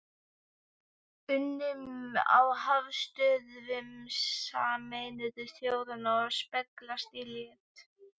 unum á höfuðstöðvum Sameinuðu þjóðanna og speglast í létt